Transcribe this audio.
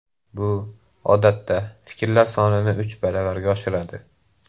Bu, odatda, fikrlar sonini uch baravarga oshiradi.